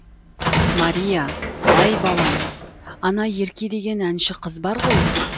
мәрия әй балам ана ерке деген әнші қыз бар ғой